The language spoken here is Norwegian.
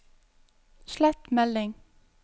slett melding